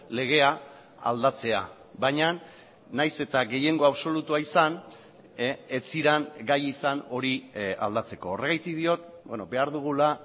legea aldatzea baina nahiz eta gehiengo absolutua izan ez ziren gai izan hori aldatzeko horregatik diot behar dugula